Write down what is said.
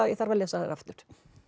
ég þarf að lesa þær aftur